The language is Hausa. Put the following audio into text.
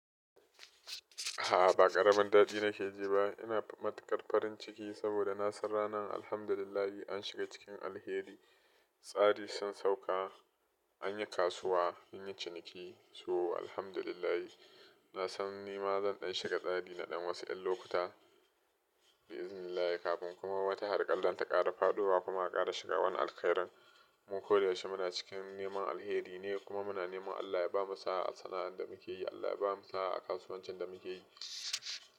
A'a ba ƙaramin daɗi nake ji ba, ina matukar farin ciki saboda na san ranan alhamdulillah an shiga cikin alheri. Tsari sun sauka, an yi kasuwa, sun yi ciniki. So alhamdulillah na san nima zan ɗan shiga tsari na ɗan wasu yan lokuta bi'iznillahi kafin kuma wata harƙar lanta ƙara faɗuwa kuma aka ƙara shiga wani alkhairan. Mu ko da yaushe muna cikin neman alheri ne kuma muna neman Allah ya bamu saa a sana'ar da muke yi, Allah ya bamu saa a kasuwan cin da muke yi.